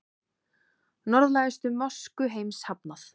Norðlægustu mosku heims hafnað